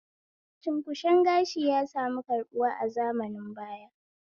Cunkushen gashi ya sami karɓuwa a zamanin baya